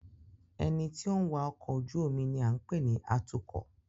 Ẹni tí ó ń wa ọkọ̀ ojú omi ni à ń pè ní Atúkọ̀